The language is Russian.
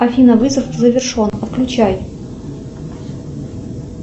афина вызов завершен отключай